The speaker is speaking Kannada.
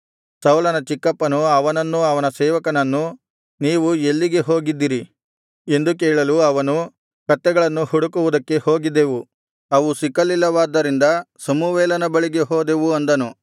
ಸೌಲನ ಚಿಕ್ಕಪ್ಪನು ಅವನನ್ನೂ ಅವನ ಸೇವಕನನ್ನೂ ನೀವು ಎಲ್ಲಿಗೆ ಹೋಗಿದ್ದಿರಿ ಎಂದು ಕೇಳಲು ಅವನು ಕತ್ತೆಗಳನ್ನು ಹುಡುಕುವುದಕ್ಕೆ ಹೋಗಿದ್ದೆವು ಅವು ಸಿಕ್ಕಲಿಲ್ಲವಾದ್ದರಿಂದ ಸಮುವೇಲನ ಬಳಿಗೆ ಹೋದೆವು ಅಂದನು